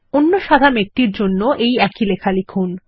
অন্য সাদা মেঘ এর জন্য একই লেখা লিখুন